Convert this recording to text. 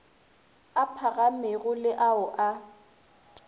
a phagamego le ao a